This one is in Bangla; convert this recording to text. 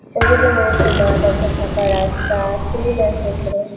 এদিকে মনে হচ্ছে মাঠ আছে ।ফাঁকা রাস্তা-আ টিন আছে ওপরে-এ ।